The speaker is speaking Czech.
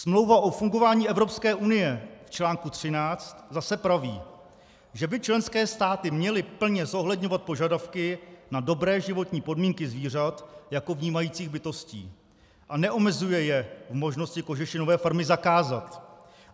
Smlouva o fungování Evropské unie v článku 13 zase praví, že by členské státy měly plně zohledňovat požadavky na dobré životní podmínky zvířat jako vnímajících bytostí, a neomezuje je v možnosti kožešinové farmy zakázat.